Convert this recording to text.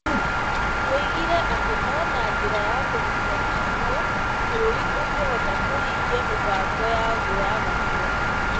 Oigire atĩ no na njĩra ya kũnyitana hamwe, bũrũri ũngĩhota kũhingia mĩbango yaguo ya gũkũra.